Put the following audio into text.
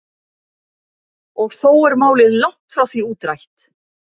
Og þó er málið langt frá því útrætt.